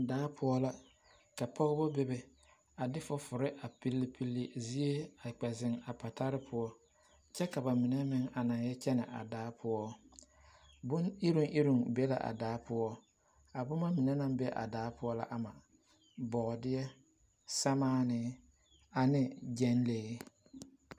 Daapoɔ ka pɔgba bebe ka ba de foforee pilpile a zie a ziŋ ziŋ a patare poɔ kyɛ ka ba mine naŋ yɛ kyɛne a daapoɔ bonyireŋyireŋ be la a daapoɔ a boma mine naŋ be a daapoɔ la ama boodeɛ simaane ane gyiŋlee.